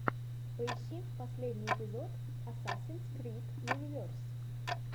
поищи последний эпизод асасинс крид юниверс